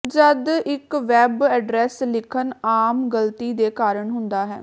ਜਦ ਇੱਕ web address ਲਿਖਣ ਆਮ ਗਲਤੀ ਦੇ ਕਾਰਨ ਹੁੰਦਾ ਹੈ